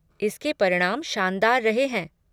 इसके परिणाम शानदार रहे हैं।